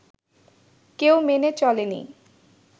কেউ মেনে চলেনি